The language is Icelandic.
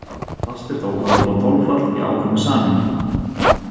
Fast er þó að nota þolfall í ákveðnu samhengi.